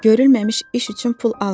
Görülməmiş iş üçün pul almırıq.